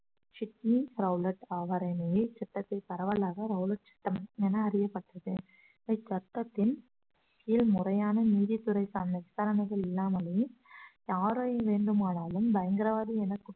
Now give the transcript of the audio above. Sydney Rowlatt அவர் இச்சட்டத்தை பரவலாக ரௌலட்ச்சட்டம் என அறியப்பட்டது இச்சட்டத்தின் கீழ் முறையான நீதித்துறைக்கான விசாரணைகள் இல்லாமலேயே யாரை வேண்டுமானாலும் பயங்கரவாதி என